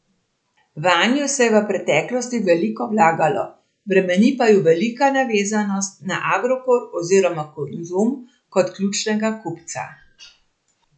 Vanju se je v preteklosti veliko vlagalo, bremeni pa ju prevelika navezanost na Agrokor oziroma Konzum kot ključnega kupca.